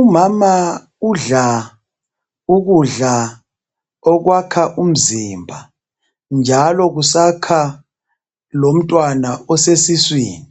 Umama udla ukudla okwakha umzimba njalo kusakha lomntwana osesiswini.